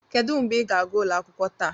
Kedu mgbe ịga gaa ụlọ akwụkwọ taa?